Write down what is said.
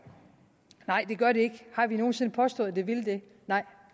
nej det gør det ikke har vi nogen sinde påstået at det ville det nej